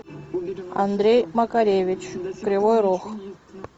андрей макаревич кривой рог